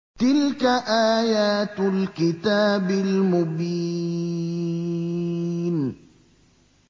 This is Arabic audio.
تِلْكَ آيَاتُ الْكِتَابِ الْمُبِينِ